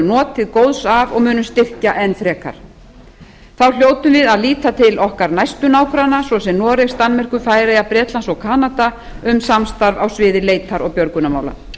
notið góðs af og munum styrkja enn frekar þá hljótum við að líta til okkar næstu nágranna svo sem noregs danmerkur færeyja bretlands og kanada um samstarf á sviði leitar og björgunarmála